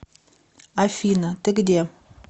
афина ты где